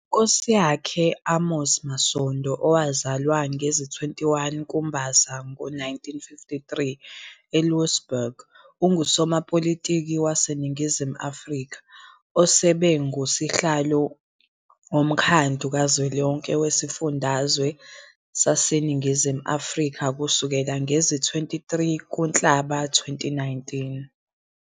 uNkosiyakhe Amos Masondo, owazwala ngezi-21 kuMbasa ngo-1953 eLouwsburg, ungusopolitiki waseNingizimu Afrika, osebe ngusihlalo woMkhandlu kaZwelonke weziFundazwe zaseNingizimu Afrika kusukela ngezi-23 kuNhlaba 2019.